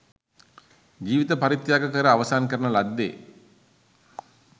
ජීවිත පරිත්‍යාග කර අවසන් කරන ලද්දේ